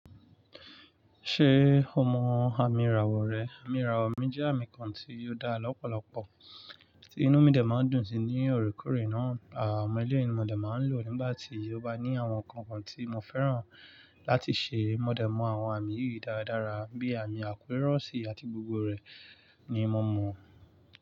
Ṣé o mọ àmì ìràwọ̀ rẹ? Am irami jẹ àmì kan tí ó dá lọ́pọ̀lọpọ̀, tí inú mi dẹ̀ ma ń dùn sí ní orekore náà. Àwọn eléyìí ni mi dẹ̀ máa ń lò nígbà tí o bá ní àwọn nǹkan kan tí mo fẹ́ràn láti ṣe. Mo dẹ̀ mọ àwọn àmì yìí dáadáa bí àmì akọ irọsi àti gbogbo rẹ̀ ni mo mọ.